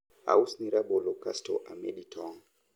ausni rabolo kasto amedi tong